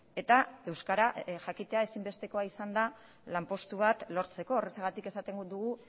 eta euskara jakitea ezinbestekoa izan da lanpostu bat lortzeko horrexegatik esaten dugu